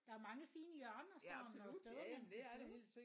Der er mange fine hjørner sådan og steder man kan sidde